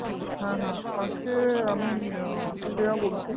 হ্যাঁ হ্যাঁ আজকে আমি শ্রেয়া বলছি